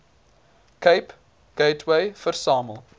cape gateway versamel